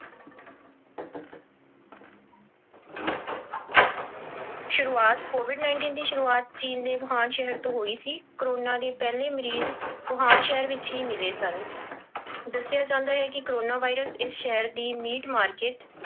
ਸ਼ੁਰੂਆਤ covid nineteen ਦੀ ਸ਼ੁਰੂਆਤ ਚੀਨ ਦੇ ਵੂਹਾਨ ਸ਼ਹਿਰ ਤੋਂ ਹੋਈ ਸੀ l ਕੋਰੋਨਾ ਦੀ ਪਹਿਲੀ ਮਰੀਜ਼ ਵੂਹਾਨ ਸ਼ਹਿਰ ਵਿੱਚ ਹੀ ਮਿਲੇ ਸਨ, ਦੱਸਿਆ ਜਾਂਦਾ ਹੈ ਕੋਰੋਨਾ virus ਇਸ ਸ਼ਹਿਰ ਦੀ meat market